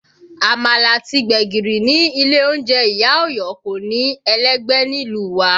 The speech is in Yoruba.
Àmàlà àti gbẹ̀gìrì ní ilé oúnjẹ ìyá Ọ̀yọ́ kò ní ẹlẹ́gbẹ́ nílùú wa